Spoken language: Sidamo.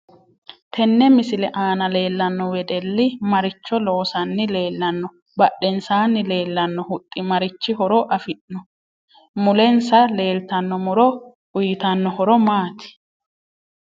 Tinne misile aana leelanno wedelli maricho loosani leelanno badhensaani leelanno huxxi marichi horo afirinno mulensa leeltanno muro uyiitanno horo maati